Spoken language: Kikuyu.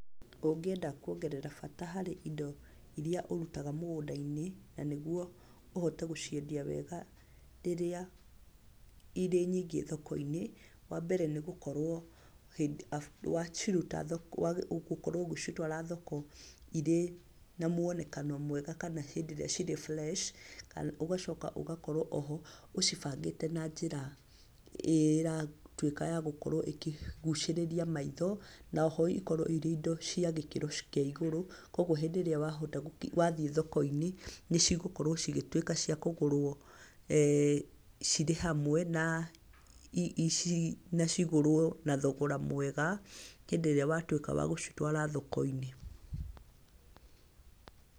Ũngĩenda kũongerera bata harĩ indo irĩa ũrutaga mũgũnda-inĩ, na nĩguo ũhote gũciendia wega rĩrĩa irĩ nyingĩ thoko-inĩ. Wa mbere nĩ gũkorwo, ũgĩcitwara thoko irĩ na mũonekano mwega, kana hĩndĩ irĩa cirĩ fresh, ũgacoka ũgakorwo oho ũcibangĩte na njĩra ĩratuĩka ya gũkorwo ĩkĩgucirĩria maitho, na oho ikorwo irĩ indo cia gĩkĩro kĩa igũrũ. Koguo hĩndĩ ĩrĩa wathiĩ thoko-inĩ nĩ cigũkorwo cigĩtuĩka cia kũgũrwo cirĩ hamwe, na cigũrwo na thogora mwega hĩndĩ ĩrĩa watuĩka wa gũcitwara thoko-inĩ.